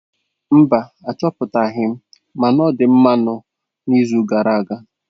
Mba, Achọpụtaghị m ma ọ̀ dị mmanụ n'izu gara aga.